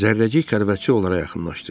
Zərrəcik xəlvətcə onlara yaxınlaşdı.